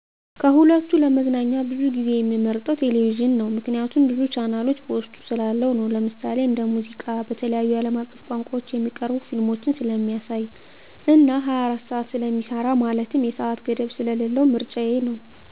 ከሁለቱ ለመዝናኛ ብዙ ጊዜየምመርጠዉ ቴሌቪዥን ነዉ ምክንያቱም ብዙ ቻናሎች በዉስጡ ስላለዉነዉ ለምሳሌ:-እንደ ሙዚቃ፣ በተለያዩ አለም አቀፍ ቋንቋዎች የሚቀርቡ ፊልሞችን ስለሚያሳይ እና 24 ሰዓት ስለሚሰራ ማለትም የሰአት ገደብ ስለሌለዉ ምርጫየ ነዉ።